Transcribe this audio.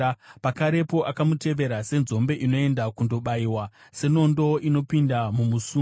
Pakarepo akamutevera senzombe inoenda kundobayiwa, senondo inopinda mumusungo,